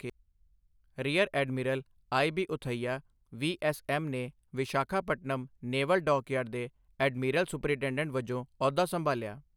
rear admiral I B Uthaiah, V S M ਨੇ Visakhapatnam naval dockyard ਦੇ admiral superintendent ਵਜੋਂ ਅਹੁਦਾ ਸੰਭਾਲਿਆ